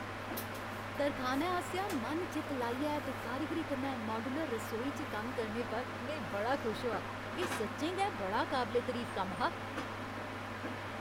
तरखानै आसेआ मन चित लाइयै ते कारीगिरी कन्नै माड्यूलर रसौई च कम्म करने पर में बड़ा खुश होआ। एह् सच्चें गै बड़ा काबले तरीफ कम्म हा।